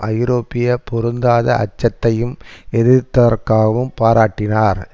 ஐரோப்பிய பொருந்தாத அச்சத்தையும் எதிர்த்ததற்காகவும் பாராட்டினார்